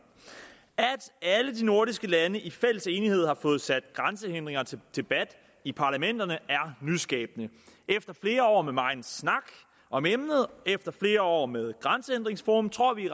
at alle de nordiske lande i fælles enighed har fået sat grænsehindringer til debat i parlamenterne er nyskabende efter flere år med megen snak om emnet og efter flere år med grænsehindringsforum tror vi